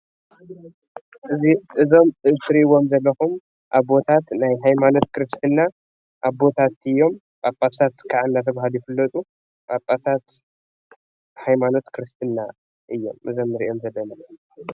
እዞም እትሪእዎም ዘለኩም አቦታት ናይ ሀይማኖት ክርስትና አቦታት እዮም። ጳጳሳት ካዓ እናተባህሉ ይፍለጡ ጳጳሳት ሀይማኖት ክርስትና እዮም እዚኦም እንሪኦም ዘለና፡፡